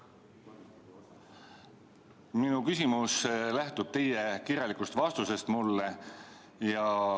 Minu küsimus lähtub teie kirjalikust vastusest mulle.